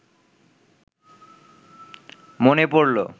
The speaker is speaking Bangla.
মনে পড়ল